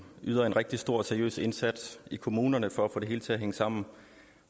yder en rigtig stor og seriøs indsats i kommunerne for at få det hele til at hænge sammen